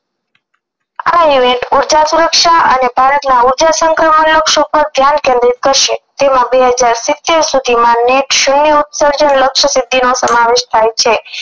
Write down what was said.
આ event ઉર્જા સુરક્ષા અને ભારતમાં ઉર્જા સંક્રમણ નું ધ્યાન કેન્દ્રિત કરશે તેમ બે હજ સિત્તેર સુધીમાં ઉત્સર્જન સમાવેશ થાય છે